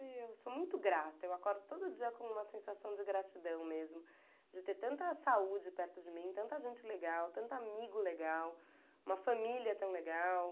Eu sou muito grata, eu acordo todo dia com uma sensação de gratidão mesmo, de ter tanta saúde perto de mim, tanta gente legal, tanto amigo legal, uma família tão legal.